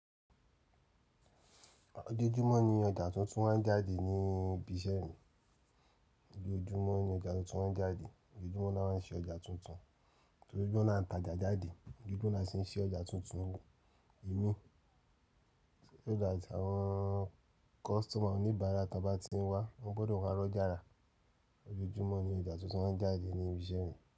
Ojoojúmọ́ ni ọjà tuntun máa ń jáde ní ibi iṣẹ́ mi. Ojoojúmọ́ ni ọjà tuntun máa ń jáde. Ojoojúmọ́ ni wọ́n máa ń ṣe ọjà tuntun. Ojoojúmọ́ ni a ń ta ọjà jáde, ojoojúmọ́ ni a sì ń ṣe ọjà tuntun. Èmi nígbà tí àwọn kọ́sítọ̀mà oníbàárà bá ti ń wá, wọ́n gbọdọ̀ má rọ́ jára. Ojoojúmọ́ ni ọjà tuntun máa ń jáde ní ibi iṣẹ́ mi.